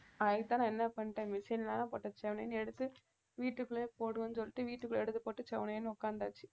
அதுக்குத்தான் நான் என்ன பண்ணிட்டேன் செவனேன்னு எடுத்து வீட்டுக்குள்ளேயே போடுவேன்னு சொல்லிட்டு வீட்டுக்குள்ள எடுத்து போட்டு செவனேன்னு உட்காந்தாச்சு